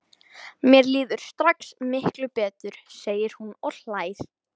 Mér líður strax miklu betur, segir hún og hlær.